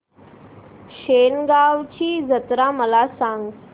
शेगांवची जत्रा मला सांग